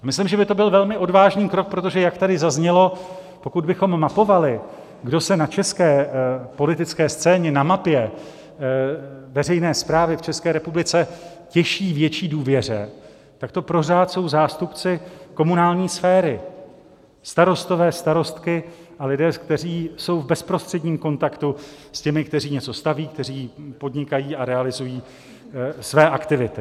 Myslím, že by to byl velmi odvážný krok, protože jak tady zaznělo, pokud bychom mapovali, kdo se na české politické scéně, na mapě veřejné správy v České republice těší větší důvěře, tak to pořád jsou zástupci komunální sféry, starostové, starostky a lidé, kteří jsou v bezprostředním kontaktu s těmi, kteří něco staví, kteří podnikají a realizují své aktivity.